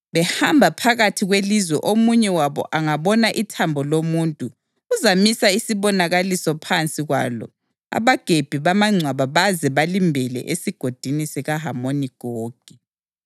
Behamba phakathi kwelizwe omunye wabo angabona ithambo lomuntu, uzamisa isibonakaliso phansi kwalo abagebhi bamangcwaba baze balimbele esiGodini sikaHamoni Gogi.